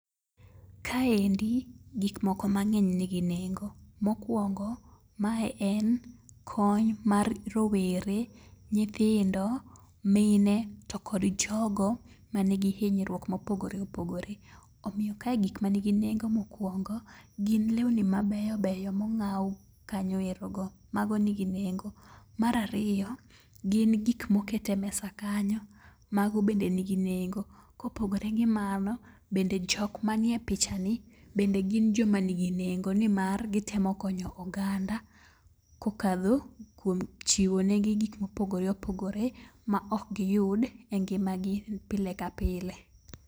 Kaendi gik moko mang'eny nigi nengo. Mokwongo mae en kony mar rowere, nyithindo, mine to kod jogo ma nigi hinyruok mopogore opogore. Omiyo kae gik ma nigi nengo mokwongo gin lewni mabeyo beyo mong'aw kanyo ero go, mago nigi nengo. Marariyo, gin gik mokete mesa kanyo, mago bende nigi nengo. Kopogore gi mano, bende jok manie picha ni bende gin jo ma nigi nengo. Nimar gitemo konyo oganda kokadho kuom chiwo negi gik mopogore opogore ma ok giyud e ngima gi pile ka pile.